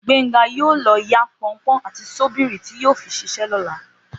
Gbénga yóò lọ yá pọnpọ́n àti ṣọ́bìrì tí yóò fi ṣiṣẹ́ lọ́la